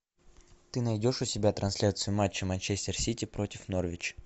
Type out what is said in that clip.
ты найдешь у себя трансляцию матча манчестер сити против норвич